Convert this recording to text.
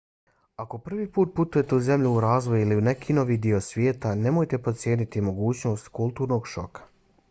ako prvi put putujete u zemlju u razvoju ili u neki novi dio svijeta nemojte podcijeniti mogućnost kulturnog šoka